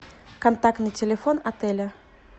контактный телефон отеля